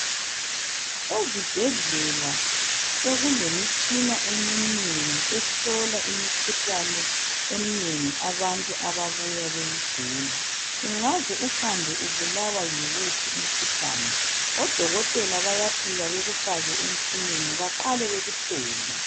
Ezibhedlela sokulemitshina eminengi ehlola imikhuhlane eminengi abantu ababuya beyigula ungaze uhambe ubulawa yiwuphi umkhuhlane odokotela bayafika bekufake emtshineni baqale bekuhlole.